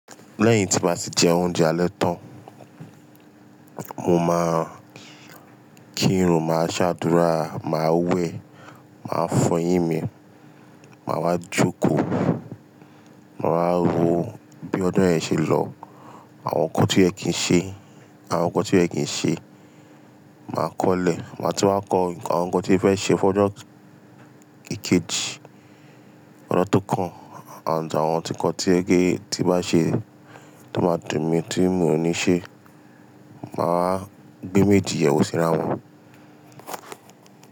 Lẹ́yìn tí n bá ti jẹ oúnjẹ alẹ́ tán, mo máa kírun, máa ṣàdúrà, màá wẹ̀, màá fọ eyín mi, màá wá jókòó, màá wa ro bí ojo yẹn ṣe lọ, àwọn nǹkan to yẹ kì n ṣe, àwọn nǹkan tí o yẹ kì n ṣe, màá kọ́lẹ̀, màá tun wá kọ àwọn nǹkan tí mo fẹ́ ṣe fún ọjọ́ keje, ojo tó kàn, àǹd àwọn nǹkan tí o jẹ pé tí n bá ṣe tó máa dùn mi tí mi ò ní ṣe, màá wa gbé méjì yen wo sira wọn.